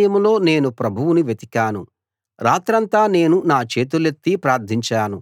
నా కష్ట సమయంలో నేను ప్రభువును వెతికాను రాత్రంతా నేను నా చేతులెత్తి ప్రార్థించాను